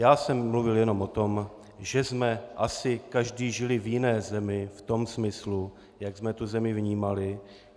Já jsem mluvil jenom o tom, že jsme asi každý žili v jiné zemi, v tom smyslu, jak jsme tu zemi vnímali.